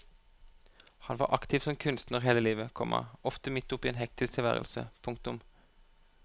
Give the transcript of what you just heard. Han var aktiv som kunstner hele livet, komma ofte midt oppe i en hektisk tilværelse. punktum